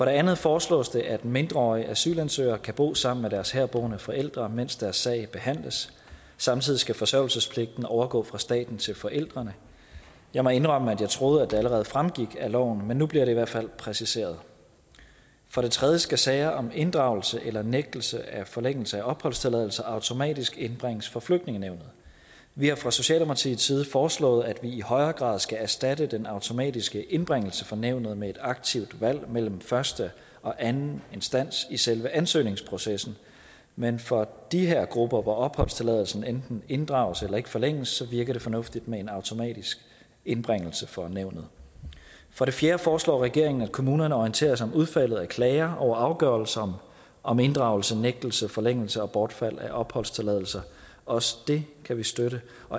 andet foreslås det at mindreårige asylansøgere kan bo sammen med deres herboende forældre mens deres sag behandles samtidig skal forsørgelsespligten overgå fra staten til forældrene jeg må indrømme at jeg troede at det allerede fremgik af loven men nu bliver det i hvert fald præciseret for det tredje skal sager om inddragelse eller nægtelse af forlængelse af opholdstilladelse automatisk indbringes for flygtningenævnet vi har fra socialdemokratiets side foreslået at man i højere grad skal erstatte den automatiske indbringelse for nævnet med et aktivt valg mellem første og anden instans i selve ansøgningsprocessen men for de her grupper hvor opholdstilladelsen enten inddrages eller ikke forlænges virker det fornuftigt med en automatisk indbringelse for nævnet for det fjerde foreslår regeringen at kommunerne orienterer sig om udfaldet af klager over afgørelser om inddragelse nægtelse forlængelse og bortfald af opholdstilladelse også det kan vi støtte